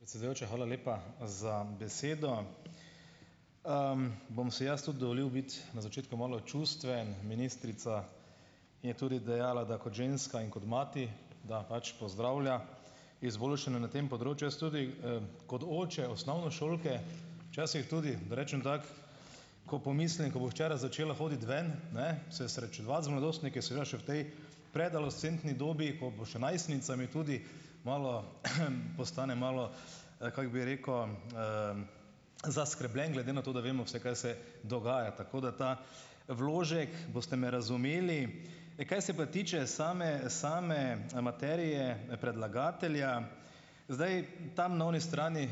Predsedujoča, hvala lepa za besedo. Bom si jaz tudi dovolil biti na začetku malo čustven. Ministrica je tudi dejala, da kot ženska in kot mati, da pač pozdravlja izboljšanje na tem področju. Jaz tudi, kot oče osnovnošolke včasih tudi rečem tako, ko pomislim, ko bo hčera začela hoditi ven, ne, se srečevati z mladostniki seveda še v tej predadolescentni dobi, ko bo še najstnica, me tudi malo, postanem malo, kako bi rekel, zaskrbljen glede na to, da vemo, vse kaj se dogaja. Tako da ta vložek, boste me razumeli. Kaj se pa tiče same same materije predlagatelja. Zdaj, tam na oni strani,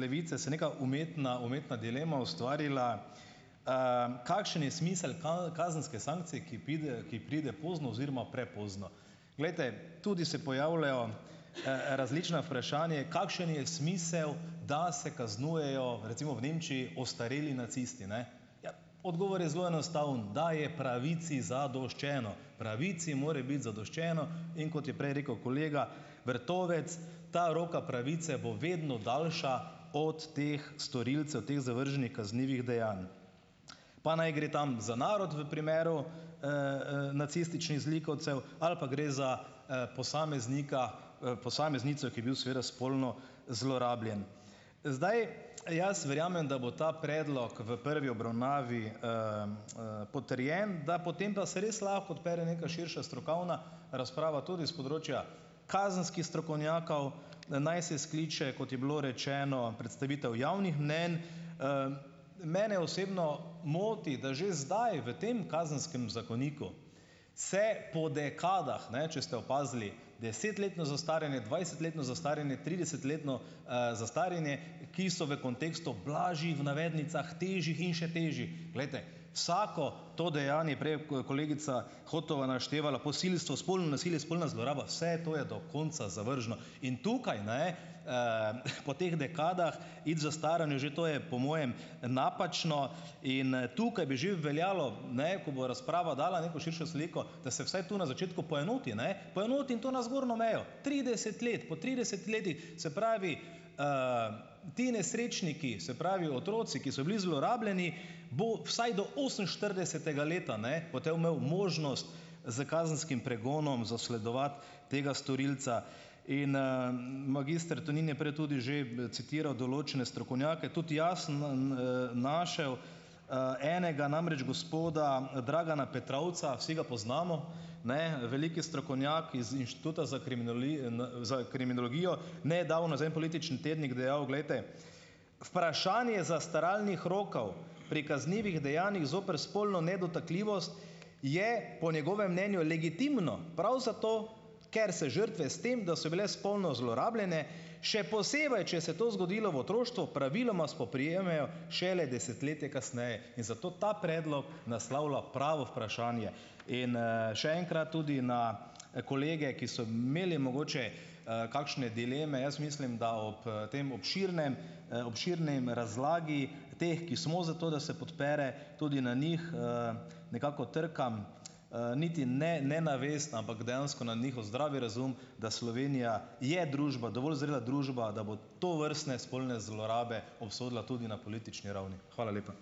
Levice se neka umetna umetna dilema ustvarila. Kakšen je smisel kazenske sankcije, ki pride, ki pride pozno oziroma prepozno. Glejte, tudi se pojavljajo, različna vprašanja, kakšen je smisel, da se kaznujejo, recimo v Nemčiji, ostareli nacisti, ne. Ja, odgovor je zelo enostaven, da je pravici zadoščeno. Pravici mora biti zadoščeno, in kot je prej rekel kolega Vrtovec, ta roka pravice bo vedno daljša od teh storilcev teh zavrženih kaznivih dejanj. Pa naj gre tam za narod v primeru, nacističnih zlikovcev ali pa gre za, posameznika, posameznico, ki je bil seveda spolno zlorabljen. Zdaj, jaz verjamem, da bo ta predlog v prvi obravnavi, potrjen, da potem pa se res lahko odpre neka širša strokovna razprava tudi s področja kazenskih strokovnjakov, da naj se skliče, kot je bilo rečeno, predstavitev javnih mnenj. Mene osebno moti, da že zdaj, v tem kazenskem zakoniku se po dekadah, ne, če ste opazili, desetletno zastaranje, dvajsetletno zastaranje, tridesetletno, zastaranje, ki so v kontekstu blažjih v navednicah, težjih in še težjih. Glejte. Vsako to dejanje, prej, ko je kolegica Hotova naštevala, posilstvo, spolno nasilje, spolna zloraba. Vse to je do konca zavržno. In tukaj, ne, po teh dekadah in zastaranju, že to je po mojem napačno in, tukaj bi že veljalo, ne, ko bo razprava dala neko širšo sliko, da se vsaj tu na začetku poenoti, ne. Poenoti in to na zgorno mejo. Trideset let, po trideset se pravi, ti nesrečniki, se pravi otroci, ki so bili zlorabljeni, bo vsaj do oseminštiridesetega leta, ne, potem imel možnost s kazenskim pregonom zasledovati tega storilca in, magister Tonin je prej tudi že, citiral določene strokovnjake, tudi jaz našel, enega, namreč gospoda Dragana Petrovca. Vsi ga poznamo, ne, veliki strokovnjak iz Inštituta za za kriminologijo, nedavno za en politični tednik dejal. Glejte, vprašanje zastaralnih rokov, pri kaznivih dejanjih zoper spolno nedotakljivost je po njegovem mnenju legitimno prav zato, ker se žrtve s tem, da so bile spolno zlorabljene, še posebej, če se to zgodilo v otroštvu, praviloma spoprijemajo šele desetletje kasneje. In zato ta naslavlja pravo vprašanje. In, še enkrat tudi na, kolege, ki so imeli mogoče, kakšne dileme. Jaz mislim, da ob, tem obširnem, obširni razlagi teh, ki smo za to, da se podpre, tudi na njih, nekako trkam, niti ne ne na vest, ampak dejansko na njihov zdravi razum, da Slovenija je družba, dovolj zrela družba, da bo tovrstne spolne zlorabe obsodila tudi na politični ravni. Hvala lepa.